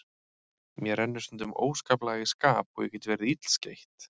Mér rennur stundum óskaplega í skap og ég get verið illskeytt.